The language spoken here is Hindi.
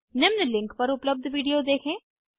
निम्न लिंक पर उपलब्ध विडिओ देखें